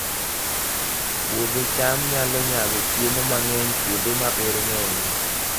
Puodho cham nyalo nyago chiemo mang'eny kuonde ma oro ng'enyie